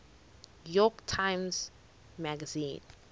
york times magazine